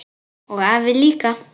Og afi líka!